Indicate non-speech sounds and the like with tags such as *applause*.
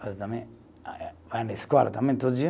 *unintelligible* Ah eh vai na escola também, todo dia.